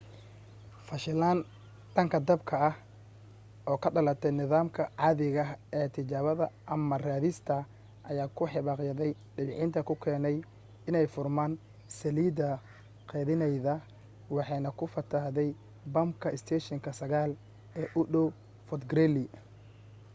fashilan dhanka dabka ah oo ka dhalatay nidaamka caadiga ah ee tijaabada amarka-ridista ayaa ku hibaaqyada debcinta ku keenay inay furmaan saliidii qeedhinaydna waxay ku fatahday bamka isteeshinka 9 ee u dhow fort greely